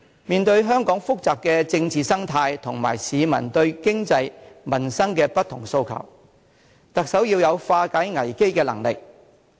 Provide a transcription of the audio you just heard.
面對香港複雜的政治生態及市民對經濟、民生的不同訴求，特首要有化解危機的能力。